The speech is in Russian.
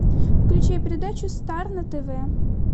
включай передачу стар на тв